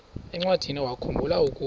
encwadiniwakhu mbula ukuba